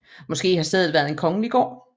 Måske har stedet været en kongelig gård